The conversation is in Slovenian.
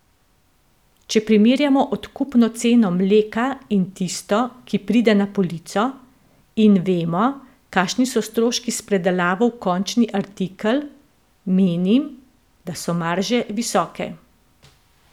Če primerjamo odkupno ceno mleka in tisto, ki pride na polico, in vemo, kakšni so stroški s predelavo v končni artikel, menim, da so marže visoke.